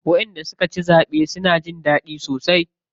Wanda suka ci zaɓe suna jin daɗi sosai.